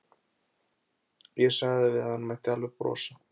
Ég sagði við hann að hann mætti alveg brosa.